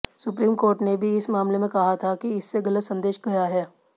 supreme court ने भी इस मामले में कहा था कि इससे गलत संदेश गया है